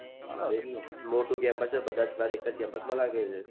મોટું campus હોય તો બઘા campus માં લાગીય હોય છે